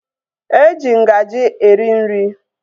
Eji ngaji eri nri